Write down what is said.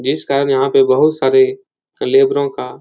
जिस कारण यहाँ पे बहोत सारे लेबरों का --